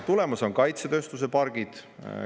Tulemas on kaitsetööstuse pargid.